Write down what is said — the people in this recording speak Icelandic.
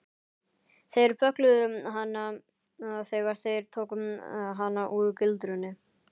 Þeir böggluðu hana þegar þeir tóku hana úr gildrunni.